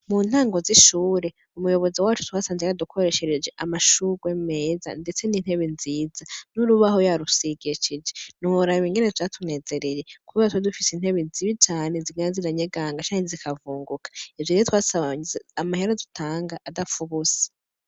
Mu ntango z'ishure umuyobozi wacu twasanze yadukoreshereje amashurwe meza, ndetse n'intebe nziza n'urubaho yarusigekije niuhorahwe ingene jatunezereye kub watwudufise intebe zibi cane zigana ziranyeganga cane zikavunguka evyo rie twasabanyize amahera dutanga adapfaubusa.